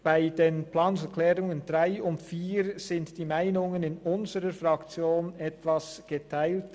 Bei den Planungserklärungen 3 und 4 sind die Meinungen in unserer Fraktion etwas geteilt.